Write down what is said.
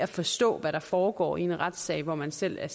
forstå hvad der foregår i en retssag hvor man selv er